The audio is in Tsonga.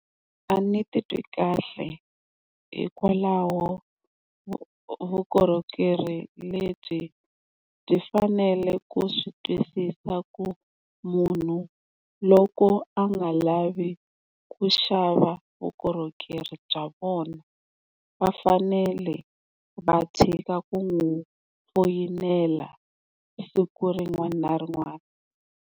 A ni titwi kahle hikwalaho vukorhokeri lebyi byi fanele ku swi twisisa ku munhu loko a nga lavi ku xava vukorhokeri bya vona va fanele va tshika ku n'wi foyinela siku rin'wani na rin'wana.